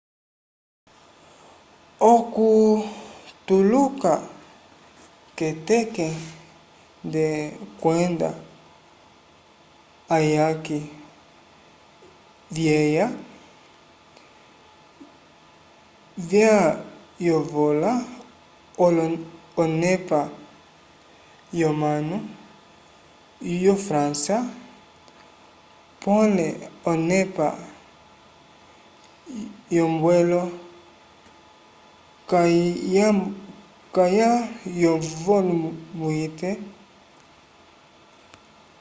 okutuluka k'eteke d kwenda ayaki vyeya vyayovola onepa yonano yo-frança pole onepa yombwelo kayayovolowile